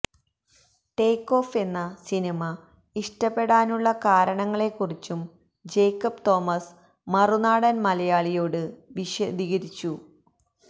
take off എന്ന സിനിമ ഇഷ്ടപെടാനുള്ള കാരണങ്ങളെക്കുറിച്ചും ജേക്കബ് തോമസ് മറുനാടൻ മലയാളിയോട് വിശദീകരിച്ചു